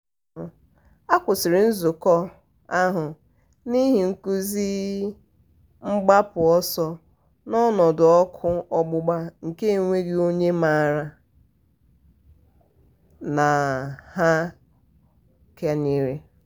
um a kwụsịrị nzukọ um ahụ n'ihi nkụzi mgbapụ ọsọ n'ọnọdụ ọkụ ọgbụgba nke enweghị onye maara na ha kanyere.